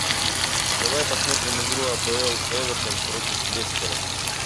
давай посмотрим игру апл эвертон против лестера